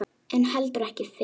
En heldur ekki fyrr.